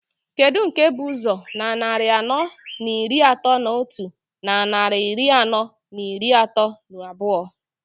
Kedu nke bụ ụzọ na nnarị anọọ n'iri atọọ n'otu, na nnarị iri anọọ n'iri atọọ n'abụọ?